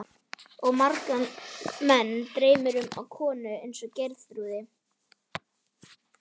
Og marga menn dreymir um konu eins og Geirþrúði.